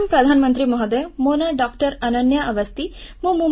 ପ୍ରଣାମ ପ୍ରଧାନମନ୍ତ୍ରୀ ମହୋଦୟ ମୋ ନାଁ ଡଃ ଅନନ୍ୟା ଅବସ୍ତି